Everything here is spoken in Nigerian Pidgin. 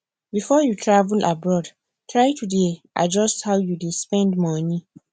before you travel abroad try to dey adjust how you dey spend money